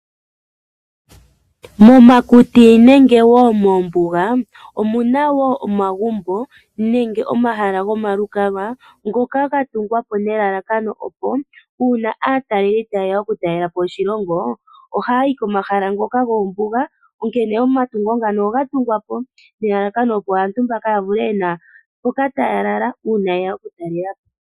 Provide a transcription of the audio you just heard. Momakuti nenge moombuga omu na wo omagumbo nenge omahala gomalukalwa ngoka ga tungwa po nelalakano opo uuna aatalelipo taye ya okutalela po oshilongo ohaya yi komahala ngoka goombuga. Onkene omatungo ngaka oga tungwa po nelalakano opo aantu mbaka ya kale ye na mpoka taya lala uuna ye ya okutalela po.